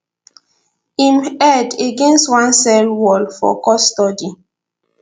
im head against one cell wall for custody